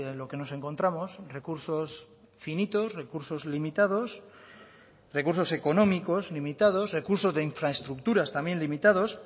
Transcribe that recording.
lo que nos encontramos recursos finitos recursos limitados recursos económicos limitados recursos de infraestructuras también limitados